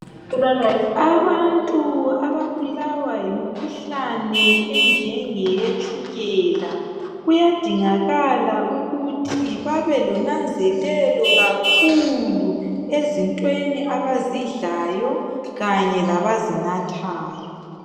Abantu ababulawa yimikhuhlane enjengeye tshukela kuyadingakala ukuthi babe lonanzelelo kakhulu ezintweni abazidlayo kanye labazinathayo.